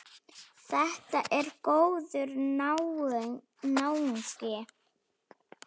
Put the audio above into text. Þetta er góður náungi.